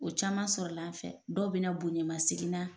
O caman sɔrɔl'a fɛ, dɔw bɛna bonɲɛmasegin na